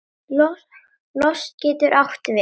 Lost getur átt við